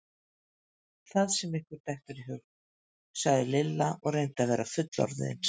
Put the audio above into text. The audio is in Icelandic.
Það sem ykkur dettur í hug! sagði Lilla og reyndi að vera fullorðinsleg.